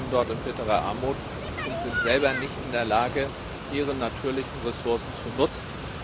Sie leben dort in bitterer Armut und sind selber nicht in der Lage, ihre natürlichen Ressourcen zu nutzen.